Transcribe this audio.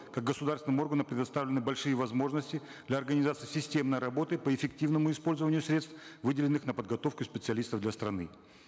как государственным органом предоставлены большие возможности для организации системной работы по эффективному использованию средств выделенных на подготовку специалистов для страны